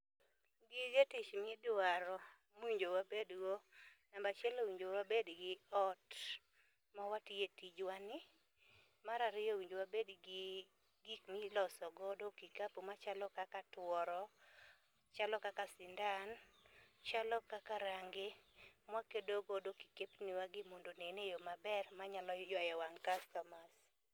Gige tich midwaro mowinjo wabedgo: namba chiel owinjo wabed gi ot mawatiye tijwa ni, mar ariyo owinjo wabed gi gik miloso godo kikapu machalo kaka tworo, chalo kaka sindan, chalo kaka rangi mwakedo godo kikepni wagi mondo onen eyoo maber manyalo ywayo wang' customers